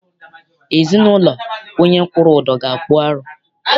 Ezinaụlọ onye kwụrụ ụdọ ga- akpụ arụ.